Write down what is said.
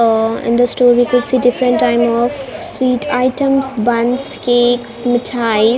ah in this two different type of sweet items buns cakes mittayi .